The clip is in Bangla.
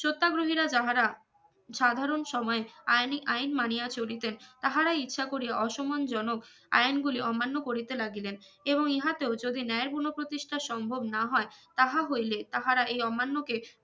সত্যাগ্রহীরা যাহারা সাধারন সময় আইনি আইন মানিয়া চলিতেন তাহারা ইচ্ছা করিয়া অসম্মানজনক আইন গুলি অমান্য করিতে লাগিলেন এবং ইহাতেও যদি ন্যায়ের গুনো প্রতিষ্ঠা সম্ভব না হয় তাহা হইলে তাহারা এই অমান্য কে